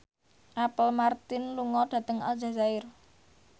Apple Martin lunga dhateng Aljazair